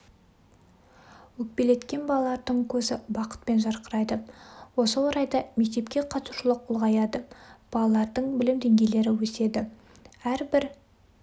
өкпелеткен балалардың көзі бақытпен жарқырайды осы орайда мектепке қатысушылық ұлғаяды балалардың білім деңгейлері өседі әрбір